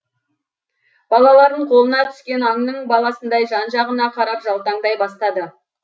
балалар қолына түскен аңның баласындай жан жағына қарап жалтаңдай бастады